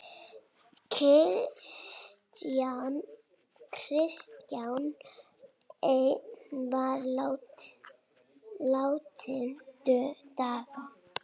Klisjan ein var látin duga.